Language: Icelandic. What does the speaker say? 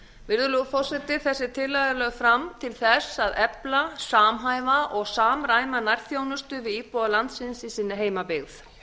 virðulegur forseti þessi tillaga er lögð fram til þess að efla samhæfa og samræma nærþjónustu við íbúa landsins í sinni heimabyggð